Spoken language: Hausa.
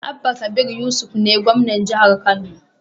Abba kabir yusuf ne gwamnan jahar kano